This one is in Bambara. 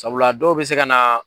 Sabula a dɔw be se ka na